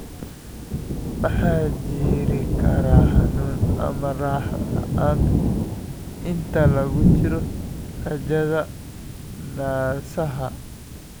Waxaa jiri kara xanuun ama raaxo la'aan inta lagu jiro raajada naasaha.